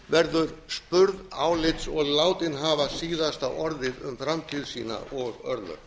verður spurð álits og látin hafa síðasta orðið um framtíð sína og örlög